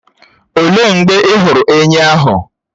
Òlee mgbe ị hụrụ ènyị́ ahụ?